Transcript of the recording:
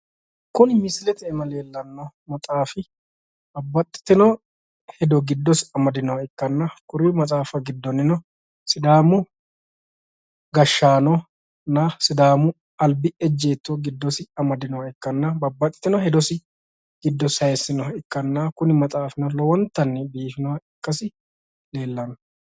Kuni misilete iima leellanno maxaafi babbaxxitino hedo giddosi amadinoha ikkanna kuri maxaafa giddonnino sidaamu gashshanonna sidaamu albi ejjeetto giddosi amadinoha ikkanna babbaxxitino hedo giddosi sayiisinoha ikkanna kuni maxaafino lowontanni biifinoha ikkasi leellanno.